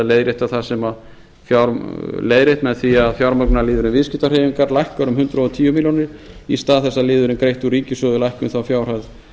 leiðrétt með því að fjármagnsliðurinn viðskiptahreyfingar lækkar um hundrað og tíu milljónir í stað þess að liðurinn greitt úr ríkissjóði lækki um þá fjárhæð